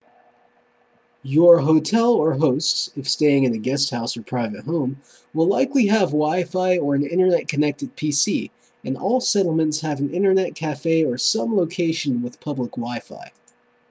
your hotel or hosts if staying in a guesthouse or private home will likely have wifi or an internet connected pc and all settlements have an internet cafe or some location with public wifi